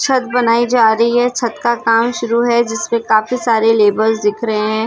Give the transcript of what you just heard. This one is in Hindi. छत बनाई जा रही है छत का काम शुरू हैं जिसपे काफी सारे लेवर्स दिख रहे हैं।